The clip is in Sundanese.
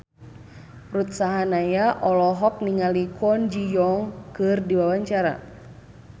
Ruth Sahanaya olohok ningali Kwon Ji Yong keur diwawancara